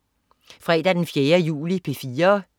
Fredag den 4. juli - P4: